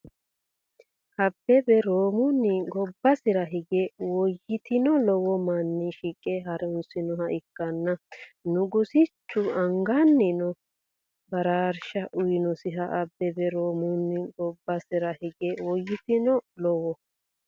Abbebe Roomunni gobbasira higi woyiteno lowo manni shiqe haa’rinosiha ikkanna Nugusichu angannino baraarsha uyinisi Abbebe Roomunni gobbasira higi woyiteno lowo.